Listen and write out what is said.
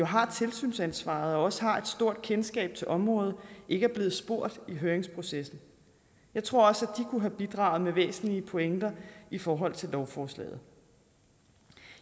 har tilsynsansvaret og også har et stort kendskab til området ikke er blevet spurgt i høringsprocessen jeg tror også at de kunne have bidraget med væsentlige pointer i forhold til lovforslaget